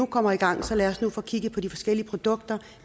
kommer i gang så skal få kigget på de forskellige produkter